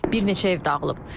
Bir neçə ev dağılıb.